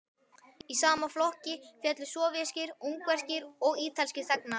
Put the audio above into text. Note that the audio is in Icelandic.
Í sama flokk féllu sovéskir, ungverskir og ítalskir þegnar.